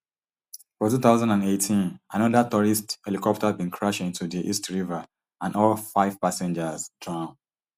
for two thousand and eighteen anoda tourist helicopter bin crash into di east river and all five passengers drown